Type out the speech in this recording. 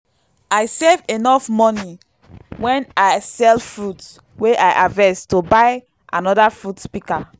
i save enof moni wen i sell fruit wey i harvest to buy anoda fruit pika